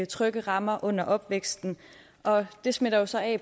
trygge rammer under opvæksten det smitter jo så af